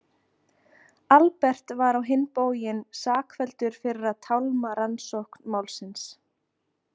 Albert var á hinn bóginn sakfelldur fyrir að tálma rannsókn málsins.